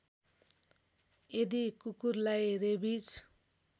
यदि कुकुरलाई रेबिज